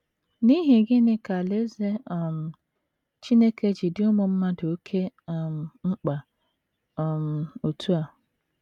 N’ihi gịnị ka Alaeze um Chineke ji dị ụmụ mmadụ oké um mkpa um otú a?